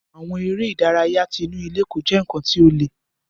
Àwọn eré ìdárayá tí inú ilé kò jẹ nkán ti o le.